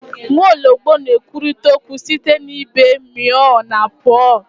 Nwaọlọgbọ na-ekwurịta okwu site na ịbe meow na purr